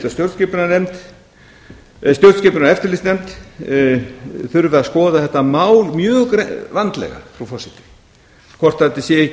stjórnskipunar og eftirlitsnefnd þurfi að skoða þetta mál mjög vandlega frú forseti hvort þetta sé ekki